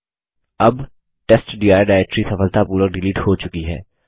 अब testdir directory सफलतापूर्वक delete हो चुकी है